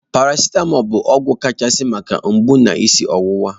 Paracitamọl bụ ọgwụ kachasị maka mgbu na isi ọwụwa